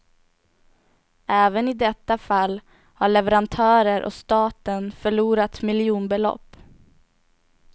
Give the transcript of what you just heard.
Även i detta fall har leverantörer och staten förlorat miljonbelopp.